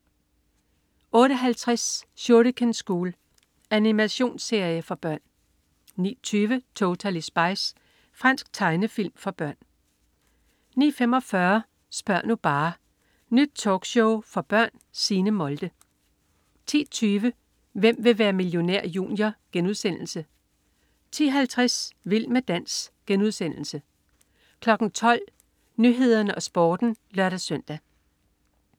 08.50 Shuriken School. Animationsserie for børn 09.20 Totally Spies. Fransk tegnefilm for børn 09.45 Spør' nu bare! Nyt talkshow for børn. Signe Molde 10.20 Hvem vil være millionær? Junior* 10.50 Vild med dans* 12.00 Nyhederne og Sporten (lør-søn)